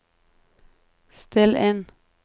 still inn